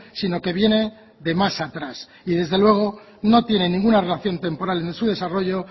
sino que viene de más atrás y desde luego no tiene ninguna relación temporal en su desarrollo